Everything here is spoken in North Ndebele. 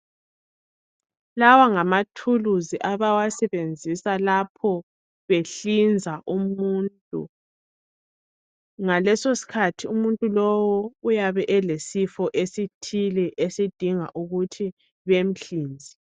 Lawa ngamathuluzi abawasebenzisa lapho behlinza umuntu. Ngaleso sikhathi umuntu lowu uyabe elesifo esithile esidinga ukuthi bemhlinze.